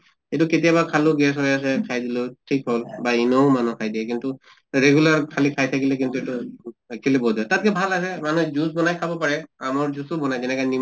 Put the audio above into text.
এইটো কেতিয়াবা খালেও gas হৈ আছে খাই দিলো ঠিক হʼল। বা ENO ও মানুহ খাই দিয়ে কিন্তু regular খালি খাই থাকিলে কিন্তু এইটো actually বহুত বেয়া। তাত্কে ভাল আছে মানুহে juice বনাই খাব পাৰে, আমৰ juice ও বনায় যেনেকে নি